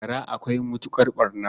Gara akwai matuƙar ɓarna.